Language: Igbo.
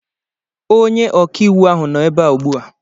Onye ọkàiwụ ahụ nọ ebea ugbua